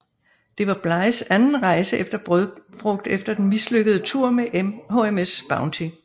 Det var Blighs anden rejse efter brødfrugt efter den mislykkede tur med HMS Bounty